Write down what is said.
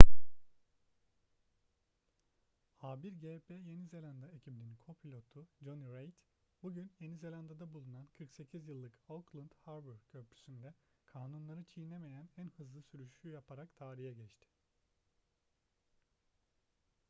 a1gp yeni zelanda ekibinin co-pilotu jonny reid bugün yeni zelanda'da bulunan 48 yıllık auckland harbour köprüsü'nde kanunları çiğnemeyen en hızlı sürüşü yaparak tarihe geçti